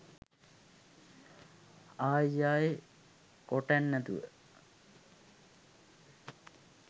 ආයි ආයි කොටන්නැතුව.